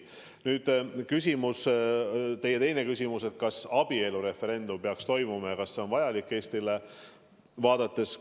Nüüd teie teine küsimus, kas abielureferendum peaks toimuma, kas see on Eestile vajalik.